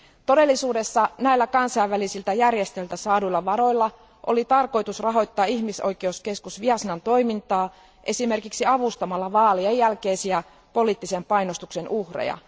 Todellisuudessa näillä kansainvälisiltä järjestöiltä saaduilla varoilla oli tarkoitus rahoittaa ihmisoikeuskeskus Viasnan toimintaa esimerkiksi avustamalla vaalien jälkeisiä poliittisen painostuksen uhreja.